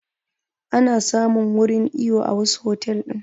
Ana samun wurin iyo a wasu otal ɗin